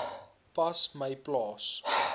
pas my plaas